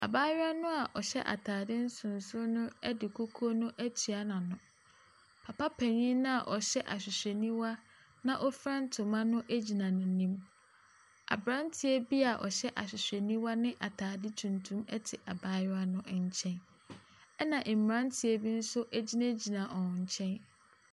Abaayea no a ɔhyɛ ataade sesan no de kukuo no atua n'ano. Papa panyin a ɔhyɛ ahwehwɛniwa na ofura ntoma no gyina n'anim. Abranteɛ bi a ɔhyɛ ahwehwɛniwa ne ataade tuntum te abaayewa no nkyɛn. Na mmranteɛ bi nso gyinagyina wɔn nkyɛn.